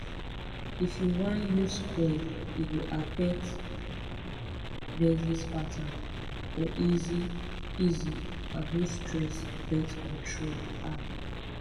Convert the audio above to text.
if u wan use coil e go affect menses pattern for easy easy and no stress birth control ah